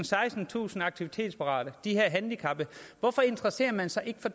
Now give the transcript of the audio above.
sekstentusind aktivitetsparate de her handicappede hvorfor interesserer man sig ikke for